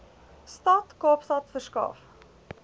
stad kaapstad verskaf